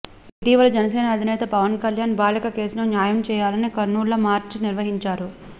ఇటీవల జనసేన అధినేత పవన్ కళ్యాణ్ బాలిక కేసులో న్యాయం చేయాలని కర్నూల్లో మార్చ్ నిర్వహించారు